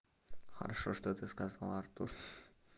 хорошо что ты сказал артур